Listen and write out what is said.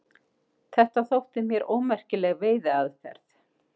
Þetta þótti mér ómerkileg veiðiaðferð.